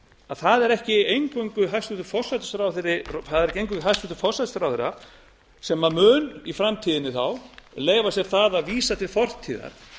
að það er ekki eingöngu hæstvirtur forsætisráðherra sem mun í framtíðinni þá leyfa sér það að vísa til fortíðar